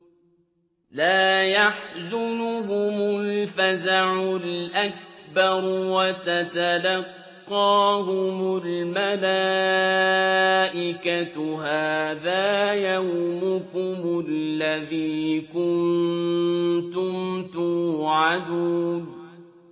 لَا يَحْزُنُهُمُ الْفَزَعُ الْأَكْبَرُ وَتَتَلَقَّاهُمُ الْمَلَائِكَةُ هَٰذَا يَوْمُكُمُ الَّذِي كُنتُمْ تُوعَدُونَ